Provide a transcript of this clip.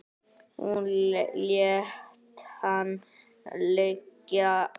Hún lét hana liggja.